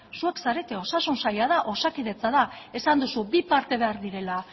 zuek zarete osasun saila da osakidetza da esan duzu bi parte behar direla